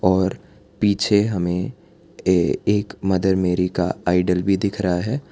और पीछे हमें ए एक मदर मेरी का आइडल भी दिख रहा है।